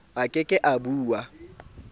a ke ke a ba